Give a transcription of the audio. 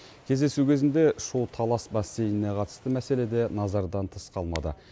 кездесу кезінде шу талас бассейніне қатысты мәселе де назардан тыс қалмады